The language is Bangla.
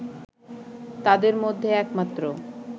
তাদের মধ্যে একমাত্র